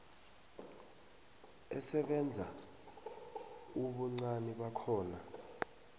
esebenza ubuncani bakhona